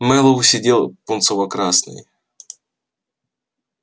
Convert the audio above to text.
мэллоу сидел пунцово-красный